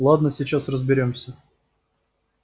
ладно сейчас разберёмся